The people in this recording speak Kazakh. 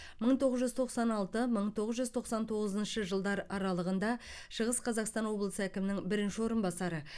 мың тоғыз жүз тоқсан алты мың тоғыз жүз тоқсан тоғызыншы жылдар аралығында шығыс қазақстан облысы әкімінің бірінші орынбасары